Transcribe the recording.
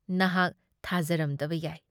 ꯅꯍꯥꯛ ꯊꯥꯖꯔꯝꯗꯕ ꯌꯥꯏ ꯫